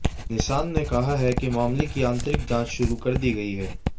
Nissan ने कहा है कि मामले की आंतरिक जांच शुरू कर दी गई है